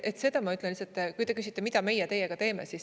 Seda ma ütlen, kui te küsite, mida meie teiega teeme.